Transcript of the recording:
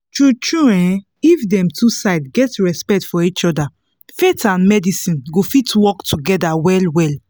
true true eh if dem two side get respect for each other faith and medicine go fit work together well well